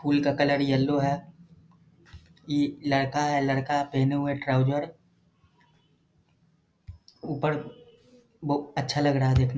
फूल का colour yellow है ई लड़का है लड़का पहने हुए ट्राउजर ऊपर बहु अच्छा लग रहा है देखने --